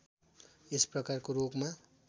यस प्रकारको रोगमा